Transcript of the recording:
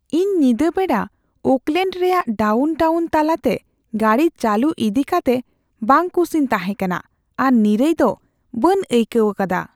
ᱤᱧ ᱧᱤᱫᱟᱹ ᱵᱮᱲᱟ ᱳᱠᱞᱮᱹᱰ ᱨᱮᱭᱟᱜ ᱰᱟᱣᱩᱱ ᱴᱟᱣᱩᱱ ᱛᱟᱞᱟᱛᱮ ᱜᱟᱹᱰᱤ ᱪᱟᱹᱞᱩ ᱤᱫᱤ ᱠᱟᱛᱮ ᱵᱟᱝᱼᱠᱩᱥᱤᱧ ᱛᱟᱦᱮᱸ ᱠᱟᱱᱟ ᱟᱨ ᱱᱤᱨᱟᱹᱭ ᱫᱚ ᱵᱟᱹᱧ ᱟᱹᱭᱠᱟᱹᱣ ᱟᱠᱟᱫᱟ ᱾